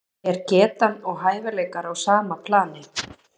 Er getan og hæfileikar á sama plani?